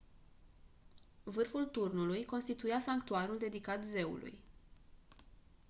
vârful turnului constituia sanctuarul dedicat zeului